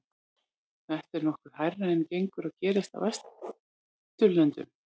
Þetta er nokkuð hærra en gengur og gerist á Vesturlöndum.